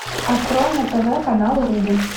открой на тв канал рубль